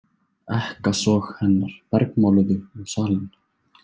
Ekkasog hennar bergmáluðu um salinn.